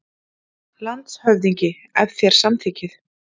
LANDSHÖFÐINGI: Ef þér samþykkið.